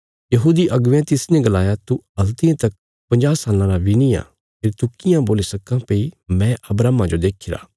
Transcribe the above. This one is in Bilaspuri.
यहूदी अगुवेयां तिसने गलाया तू हल्तियें तक पंजाह साल्लां रा बी निआं फेरी तू कियां बोल्ली सक्कां भई मैं अब्राहमा जो देखीरा